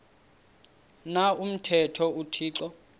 na umthetho uthixo